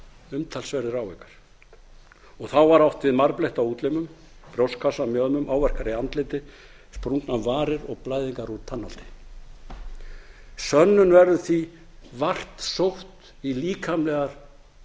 umtalsverðir áverkar þá var átt við marbletti á útlimum brjóstkassa og mjöðmum áverkar í andliti sprungnar varir og blæðingar úr tannholdi sönnun verður því vart sótt í líkamlegar